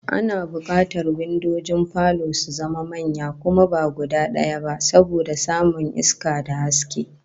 Ana bukatar windojin falo su zama manya kuma ba guda daya ba, saboda samun iska da haske